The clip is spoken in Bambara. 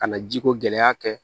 Ka na jiko gɛlɛya kɛ